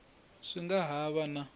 swi nga ha va na